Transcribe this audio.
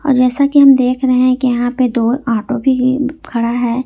जैसा कि हम देख रहे हैं यहां पे दो ऑटो भी खड़ा है।